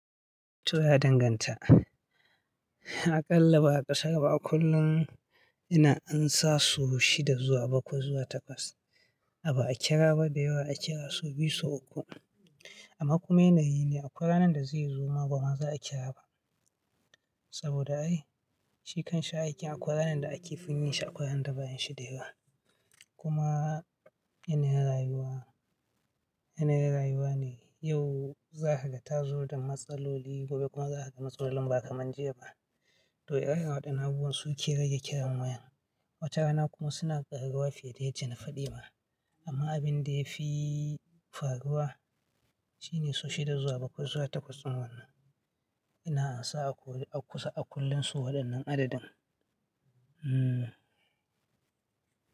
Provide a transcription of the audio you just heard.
To ya danganta. Aƙalla ba a ƙasara ba a kullum ina ansa so shida zuwa bakwai zuwa takwas. A ba a kira ba dai ba a kira so biyu so uku. Amma kuma yanayi ne akwaranan da zai zuma ba ma za a kira ba. Saboda ai shi kan sha aikin akwaranan da ake fin yin shi akwa ranan da ba'a yin shi da yawa. Kuma yanayin rayuwa, yanayin rayuwa ne yau za ka ga ta zo da matsaloli gobe kuma za ka ga matsalolin ba kaman jiya ba. To ire-iren wadannan abubuwan su ke rage kiran wayan. Watana kuma suna ƙaruwa fiye da yadda na fadima. Amma abin da ya fi faruwa shine so shida zuwa bakwai zuwa takwas din wannan. Ina ansa a kusa a kullum so waɗannan adadin. Hmm.